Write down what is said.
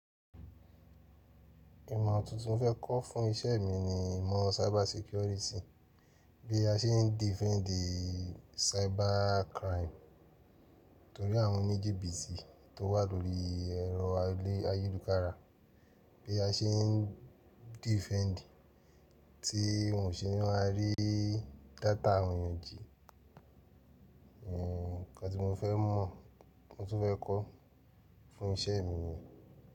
Ìmọ̀ tuntun mo fẹ́ kọ́ fún iṣẹ́ mi ni ìmọ̀ cyber security. Bí a ṣe ń defend cybercrime torí àwọn oníjìbítì tó wà lórí ẹ̀rọ ayélujára, bí a ṣe ń defend ti wọn ò ṣe náà a rí data àwon èèyàn jí. Ẹ̀, nǹkan tí mo fẹ́ mọ̀, mo tún fẹ́ kọ́ fún iṣẹ́ mi ni.